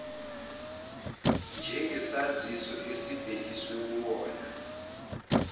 njengesaziso esibhekiswe kuwona